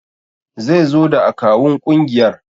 Zaizo da akawun kungiyar